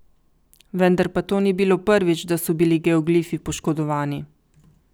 Vendar pa to ni bilo prvič, da so bili geoglifi poškodovani.